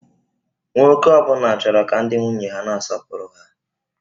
Nwoke ọ bụla chọrọ ka ndị nwunye ha na-asọpụrụ ha